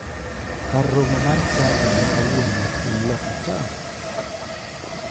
Kar romo mar chadi ma kawuono en loka cha.